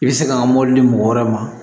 I bɛ se ka n ka mobili mɔgɔ wɛrɛ ma